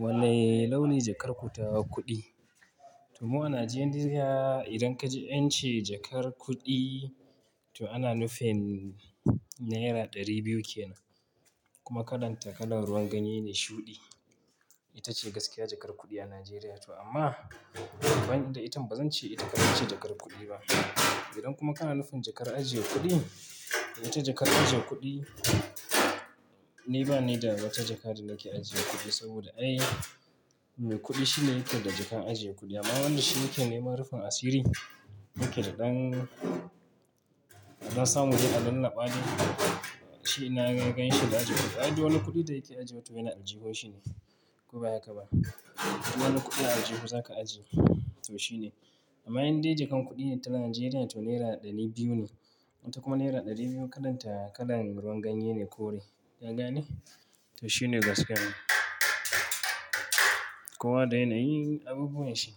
Wanne launi jakar ku ta kuɗi? To mu a Najeriya idan kaje ance jakar kuɗi to ana nufin Naira ɗari biyu kenan. Kuma kalan ta kalan ruwan ganye ne shuɗi. Ita ce gaskiya jakar kuɗi a Najeriya to amma ban da ita bazan ce ita kaɗai ce jakar kuɗi ba. Idan kuma kana nufin jakar ajiye kuɗi, ita jakar ajiye kuɗi ni ba ni da wata jaka da nake ajiye kuɗi saboda ai me kuɗi shine yake da jaka ajiye kuɗi amma wanda shi yake neman rufin asiri yake da ɗan, ɗan samun dai lallaɓa dai shi ina ya ganshi da ajiye kuɗi. Ai duk wani kuɗin da yake ajiwa toh yana aljihun shi ne ko baya haka ba. Wani kuɗi a aljihu zaka ajiye? To shi ne. Amma indai jakar kuɗin ta Najeriya to Naira ɗari biyu ne. Wata kuma Naira ɗari biyu kalan ta kalan ruwan ganye ne kore. Kaga ne? To shi ne gaskiya. Kowa da yana yin abubuwa shi.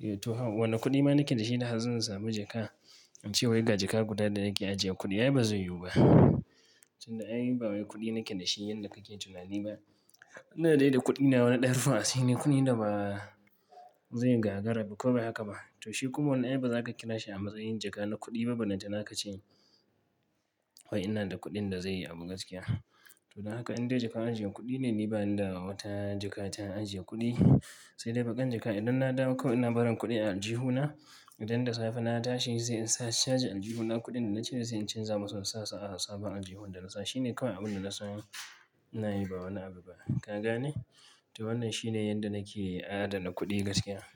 Eh to, wane kuɗi ma nake da shi na zan samu jaka? In ce wai ga jaka guda da nake ajiye kuɗi ai bazai yiwu ba. Tun da ai ba wai kuɗi nake da shi yadda kake tunani ba. Ina dai da kuɗi nawa na ɗan rufin asiri ne kuɗin da ba zai gagara ba ko baya haka ba. To shi kuma wannan ai baza ka kira shi a matsayin jaka na kuɗi ba ballantana ka ce wai ina da kuɗin da zai abu gaskiya. To don haka inda jaka ajiye kuɗi ne ni ba ni da wata jaka ta ajiye kuɗi. Sai dai baƙar jaka idan na dawo kawai ina barin kuɗi a aljihu na idan da safe na tashi sai in caje aljihu na kuɗin da na cire sai in canza masa in sasu a sabon aljihun da na sa. Shi ne kawai abun da na san nayi ba wani abu ba. Kaga ne? To wannan shi ne yadda nake adana kuɗi gaskiya.